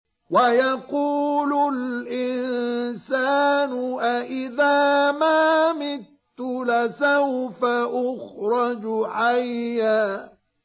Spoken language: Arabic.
وَيَقُولُ الْإِنسَانُ أَإِذَا مَا مِتُّ لَسَوْفَ أُخْرَجُ حَيًّا